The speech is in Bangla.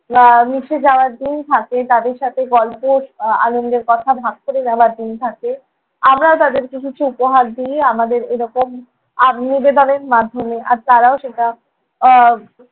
আহ মিশে যাওয়ার দিন থাকে। তাঁদের সাথে গল্প আহ আনন্দের কথা ভাগ করে নেওয়ার দিন থাকে। আমরাও তাঁদেরকে কিছু উপহার দিই। আমাদের এরকম আহ নিবেদনের মাধ্যমে। আর তাঁরাও সেটা আহ